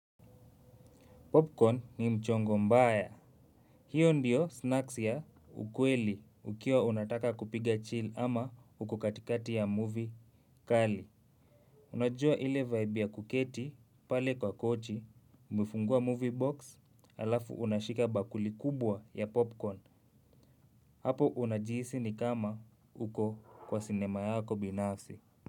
Popcorn ni mchongo mbaya. Hio ndiyo snacks ya ukweli ukiwa unataka kupiga chill ama uko katikati ya movie kali. Unajua ile vibe ya kuketi pale kwa kochi umefungua movie box alafu unashika bakuli kubwa ya popcorn. Hapo unajihisi ni kama uko kwa cinema yako binafsi.